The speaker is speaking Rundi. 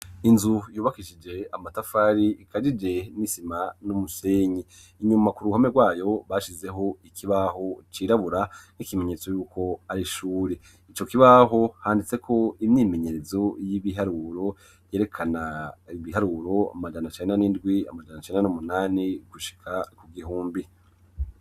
Inzu yubakishije amatafari, ikajije n'isima n'umusenyi; inyuma ku ruhome rwayo, bashizeho ikibaho cirabura nk'ikimenyetso yuko ari ishuri; ico kibaho, handitseko imyimenyerezo y'ibiharuro, yerekana ibiharuro amajana cenda n'indwi, amajana cenda n'umunani gushika ku gihumbi.